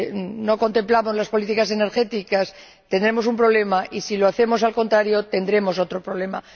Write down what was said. y no contemplamos las políticas energéticas, tendremos un problema y, si lo hacemos al contrario, tendremos otro problema.